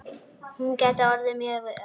Hún gæti orðið mjög jöfn.